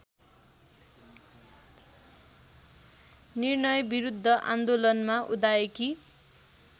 निर्णयविरुद्ध आन्दोलनमा उदाएकी